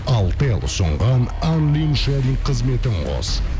алтел ұсынған ан лин шари қызметін қос